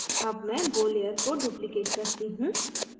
अब मैं bow layer को duplicate करती हूँ